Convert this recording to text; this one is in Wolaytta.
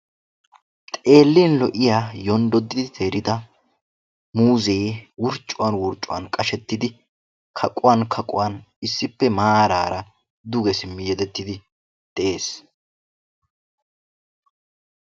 Xeelliya lo'iya yonddodidda muuzze wurccettiddi kaqquwan kaqquwan beetees.